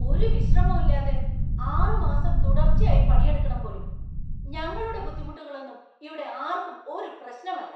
ഒരു വിശ്രമവും ഇല്ലാതെ ആറ് മാസം തുടർച്ചയായി പണിയെടുക്കണം പോലും; ഞങ്ങളുടെ ബുദ്ധിമുട്ടുകളൊന്നും ഇവിടെ ആർക്കും ഒരു പ്രശ്നം അല്ല.